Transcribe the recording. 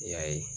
I y'a ye